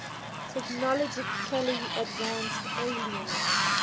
technologically advanced aliens